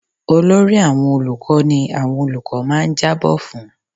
Olórí àwọn olùkọ́ ni àwọn olùkọ́ máa ń jábọ fún-un.